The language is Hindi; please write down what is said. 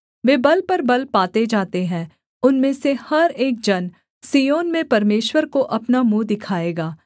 वे बल पर बल पाते जाते हैं उनमें से हर एक जन सिय्योन में परमेश्वर को अपना मुँह दिखाएगा